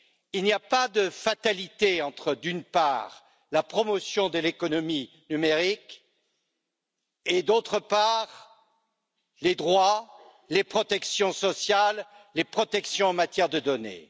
Il n'y a pas de fatalité entre, d'une part, la promotion de l'économie numérique et, d'autre part, les droits, les protections sociales, les protections en matière de données.